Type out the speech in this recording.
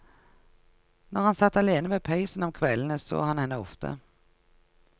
Når han satt alene ved peisen om kveldene, så han henne ofte.